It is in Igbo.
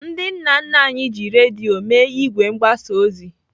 Ndị nna nna anyị ji redio mee ìgwè mgbasa ozi.